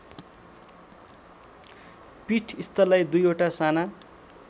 पीठस्थललाई दुईवटा साना